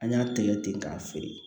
An y'a tɛgɛ ten k'a feere